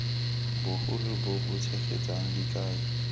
bogolo bo bo tshegetsang dikai